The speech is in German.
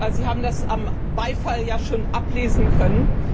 Sie haben das am Beifall schon ablesen können.